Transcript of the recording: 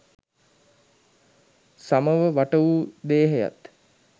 සමව වට වූ දේහයත්